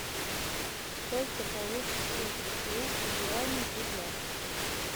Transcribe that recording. сколько получится двести юаней в рублях